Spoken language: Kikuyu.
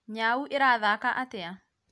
nyau ĩrathaka atĩa?